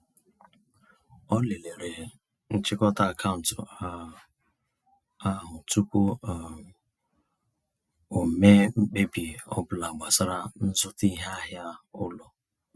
Ọ lelere nchịkọta akaụntụ um ahụ tụpụ um o mee mkpebi ọbụla gbasara nzụta iheahịa ụlọ.